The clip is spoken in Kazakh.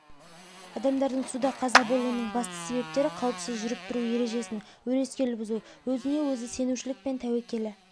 адамдардың суда қаза болуының басты себептері қауіпсіз жүріп-тұру ережесін өрескел бұзу өзіне өзі сенушілік пен тәуекелі